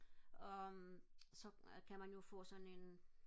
og så kan man jo få sådan en